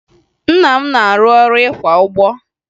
Nna m na-arụ ọrụ ịkwa ụgbọ